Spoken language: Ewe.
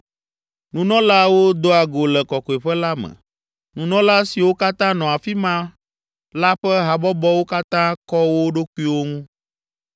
Nunɔlaawo doa go le Kɔkɔƒe la me. Nunɔla siwo katã nɔ afi ma la ƒe habɔbɔwo katã kɔ wo ɖokuiwo ŋu.